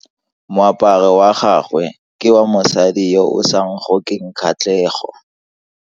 Moaparo wa gagwe ke wa mosadi yo o sa ngokeng kgatlhego.